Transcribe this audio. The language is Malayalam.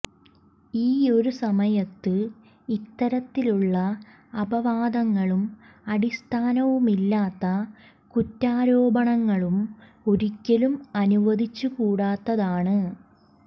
ഈ ഒരു സമയത്ത് ഇത്തരത്തിലുള്ള അപവാദങ്ങളും അടിസ്ഥാനമില്ലാത്ത കുറ്റാരോപണങ്ങളും ഒരിക്കലും അനുവദിച്ചു കൂടാത്തതാണ്